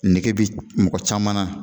Nege be mɔgɔ caman na